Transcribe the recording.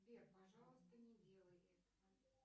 сбер пожалуйста не делай этого